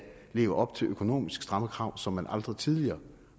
leve op til økonomisk stramme krav som man aldrig tidligere